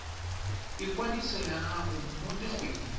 ikwadiso ya gago mo dikgweding